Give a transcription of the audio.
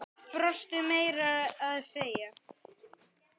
Brostu meira að segja.